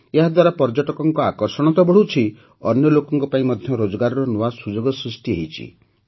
ଏହାଦ୍ୱାରା ପର୍ଯ୍ୟଟକଙ୍କ ଆକର୍ଷଣ ତ ବଢ଼ୁଛି ଅନ୍ୟ ଲୋକଙ୍କ ପାଇଁ ମଧ୍ୟ ରୋଜଗାରର ନୂଆ ସୁଯୋଗ ସୃଷ୍ଟି ହୋଇଛି